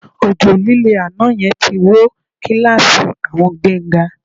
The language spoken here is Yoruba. Òjò lílé àná yẹn ti wó kíláàsì àwọn Gbénga